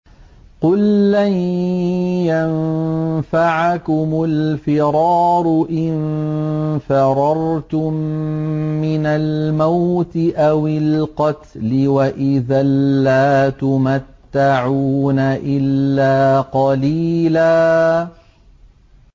قُل لَّن يَنفَعَكُمُ الْفِرَارُ إِن فَرَرْتُم مِّنَ الْمَوْتِ أَوِ الْقَتْلِ وَإِذًا لَّا تُمَتَّعُونَ إِلَّا قَلِيلًا